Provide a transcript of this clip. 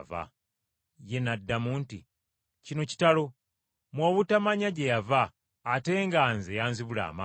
Ye n’addamu nti, “Kino kitalo, mmwe obutamanya gye yava ate nga nze yanzibula amaaso.